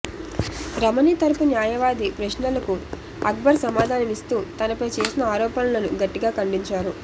రమణి తరఫు న్యాయవాది ప్రశ్నలకు అక్బర్ సమాధానమిస్తూ తనపై చేసిన ఆరోపణలను గట్టిగా ఖండించారు